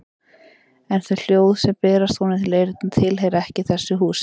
En þau hljóð sem berast honum til eyrna tilheyra ekki þessu húsi.